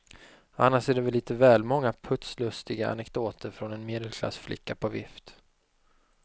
Annars är det lite väl många putslustiga anekdoter från en medelklassflicka på vift.